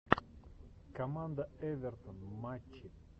команда эвертон матчи